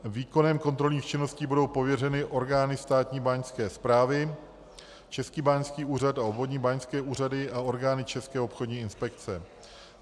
Výkonem kontrolních činností budou pověřeny orgány Státní báňské správy, Český báňský úřad a obvodní báňské úřady a orgány České obchodní inspekce.